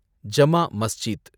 Jama Masjid